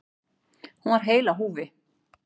Hún var heil á húfi.